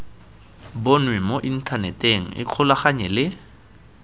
bonwe mo inthaneteng ikgolaganye le